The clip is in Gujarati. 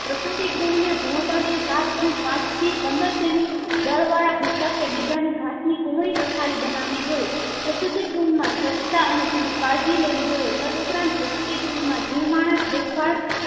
પ્રસુતિગૃહને ભોહતળિયે સાત point પાંચથી પંદર semi દર વાળા ભૂસકે બીજાની ઘાસ ની કુમળી પથારી બનાવી જોયે પ્રસ્તુતિ ગૃહમાં સ્વછતા અને પુરી કાળજી લેવી જોઈએ તદ્ ઉપરાંત પ્રસ્તુતિ ગૃહ માં જે માણસ દેખભાળ